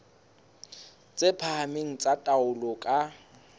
tse phahameng tsa taolo ka